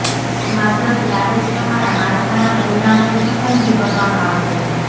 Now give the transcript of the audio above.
માત્ર ત્યારે જ તમારા માળખાના પરિમાણોની પસંદગી કરવામાં આવશે